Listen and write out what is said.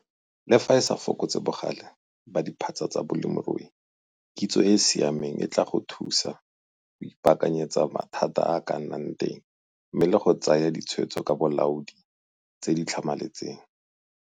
Le fa e sa fokotse bogale ba diphatsa tsa bolemirui, kitso e e siameng e tlaa thusa go ipaakanyetsa mathata a a ka nnang teng mme le go tsaya ditshwetso ka bolaodi tse di tlhamaletseng.